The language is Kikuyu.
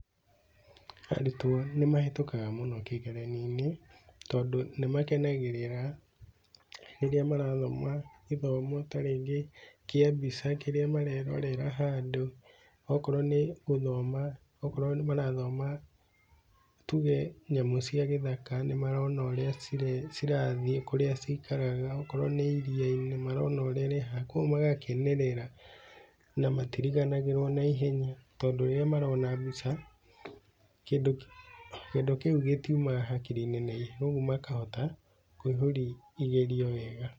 Arutwo nĩmahĩtũkaga mũno kĩgeranio-inĩ, tondũ nĩmagĩkenagĩrĩra rĩrĩa marathoma gĩthomo ta rĩngĩ kĩa mbica kĩrĩa marerorera handũ, okorwo nĩ gũthoma, okorwo marathoma tuge nyamũ cia gĩthaka nĩmarona ũrĩa cirathiĩ, kũrĩa cikaraga, okorwo nĩ iria-inĩ nĩmarona ũrĩa rĩhana, kuoguo magakenerera na matiriganagĩrwo naihenya, tondũ rĩrĩa marona mbica, kĩndũ kĩu kĩndũ kĩu gĩtiumaga hakiri-inĩ naihenya, ũguo makahota kũihũri igerio wega.